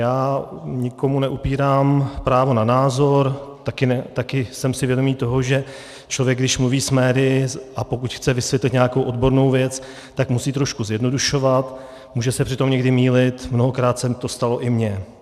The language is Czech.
Já nikomu neupírám právo na názor, taky jsem si vědomý toho, že člověk, když mluví s médii, a pokud chce vysvětlit nějakou odbornou věc, tak musí trošku zjednodušovat, může se přitom někdy mýlit, mnohokrát se to stalo i mně.